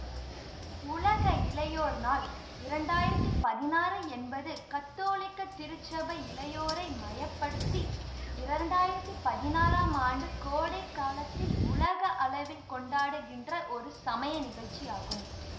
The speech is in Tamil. உலக இளையோர் நாள் இரண்டு ஆயிரத்தி பதினாறு என்பது கத்தோலிக்க திருச்சபை இளையோரை மைய படுத்தி இரண்டு ஆயிரத்தி பதினாறாம் ஆண்டு கோடை காலத்தில் உலக அளவில் கொண்டாடுகின்ற ஒரு சமய நிகழ்ச்சி ஆகும்